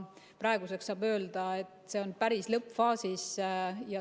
Praegu saab öelda, et see on päris lõppfaasis.